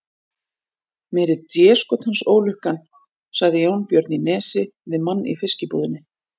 Meiri déskotans ólukkan, sagði Jónbjörn í Nesi við mann í fiskbúðinni.